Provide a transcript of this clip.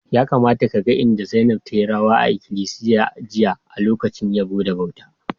Ya kamata ka gan inda Zainab tayi rawa a ikilisiya jiya a'lokacin yabbo da bauta.